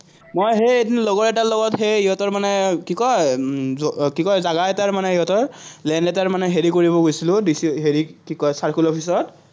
মই সেই এদিন লগৰ এটাৰ লগত সেই সিহঁতৰ মানে কি কয়, এটা মানে সিহঁতৰ land এটাৰ হেৰি কৰিব গৈছিলো DC হেৰিক, কি কয়, circle office ত।